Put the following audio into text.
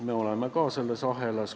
Me oleme ka selles ahelas.